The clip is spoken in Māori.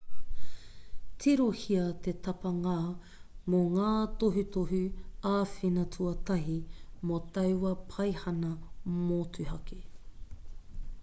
tirohia te tapanga mō ngā tohutohu āwhina tuatahi mō taua paihana motuhake